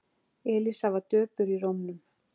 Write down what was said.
Elísa var döpur í rómnum.